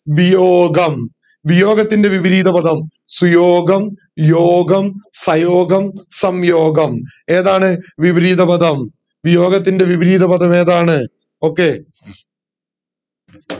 വിയോഗം വിയോഗത്തിന്റെ വിപരീതപദം സുയോഗം യോഗം ഫയോഗം സംയോഗം ഏതാണ് വിപരീതപദം വിയോഗത്തിന്റെ വിപരീത പദം ഏതാണ് okay